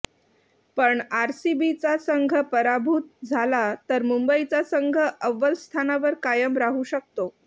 पण आरसीबीचा संघ पराभूत झाला तर मुंबईचा संघ अव्वल स्थानावर कायम राहू शकतो